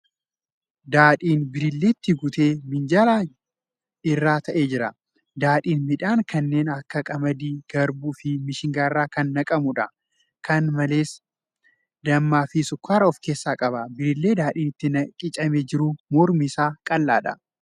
Daadhiin birilleetti guutee minjaala irra taa'ee jira. Daadhiin midhaan kanneen akka qamadii, garbuu fi mishingaa irraa kan naqamuudha. Kana malees, dammaa fi sukkaaraa of keessaa qaba. Birillee daadhiin itti qicamee jiru mormi isaa qal'aadha.